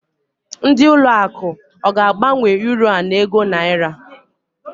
Ndị ụlọ akụ ọ ga-agbanwe Uro a n'ego Naira?